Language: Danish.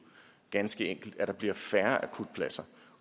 ganske enkelt at der bliver færre akutpladser